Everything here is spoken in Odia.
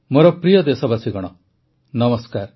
ମୋର ପ୍ରିୟ ଦେଶବାସୀଗଣ ନମସ୍କାର